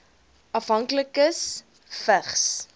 afhanklikes vigs